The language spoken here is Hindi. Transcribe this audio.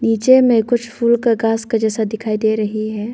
पीछे में कुछ फूल का घास का जैसा दिखाई दे रही है।